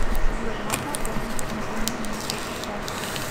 сбер можно оформить одновременно несколько карт